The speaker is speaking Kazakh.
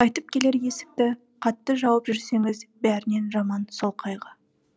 қайтып келер есікті қатты жауып жүрсеңіз бәрінен жаман сол қайғы